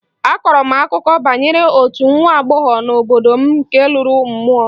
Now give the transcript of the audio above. A kọrọ m akụkọ banyere otu nwa agbọghọ nọ n'obodo m nke lụrụ mmụọ